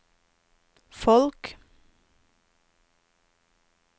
folk